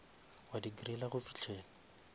wa di griller go fihlela